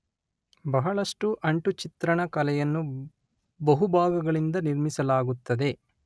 ಬಹಳಷ್ಟು ಅಂಟು ಚಿತ್ರಣ ಕಲೆಯನ್ನು ಬಹು ಭಾಗಗಳಿಂದ ನಿರ್ಮಿಸಲಾಗುತ್ತದೆ